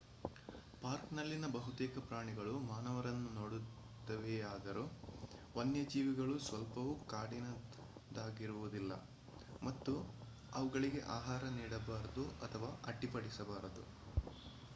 ಪಾರ್ಕ್‌ನಲ್ಲಿನ ಬಹುತೇಕ ಪ್ರಾಣಿಗಳು ಮಾನವರನ್ನು ನೋಡುತ್ತವೆಯಾದರೂ ವನ್ಯಜೀವಿಗಳು ಸ್ವಲ್ಪವೂ ಕಾಡಿನದಾಗಿರುವುದಿಲ್ಲ ಮತ್ತು ಅವುಗಳಿಗೆ ಆಹಾರ ನೀಡಬಾರದು ಅಥವಾ ಅಡ್ಡಿಪಡಿಸಬಾರದು